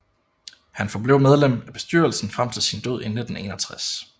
Han forblev medlem af bestyrelsen frem til sin død i 1961